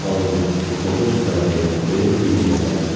और बहुत सारे पेड़ भी है।